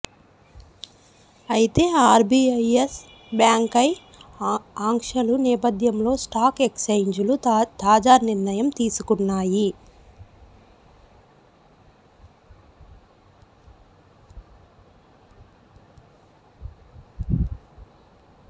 అయితే RBI Yes బ్యాంక్పై ఆంక్షలు నేపథ్యంలో స్టాక్ ఎక్సేంజ్లు తాజా నిర్ణయం తీసుకున్నాయి